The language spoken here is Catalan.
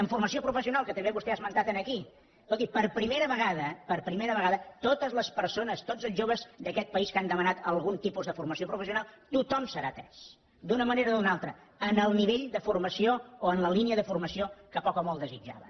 en formació professional que també vostè ha esmentat aquí escolti per primera vegada per primera vegada totes les persones tots els joves d’aquest país que han demanat algun tipus de formació professional tothom serà atès d’una manera o d’una altra en el nivell de formació o en la línia de formació que poc o molt desitjaven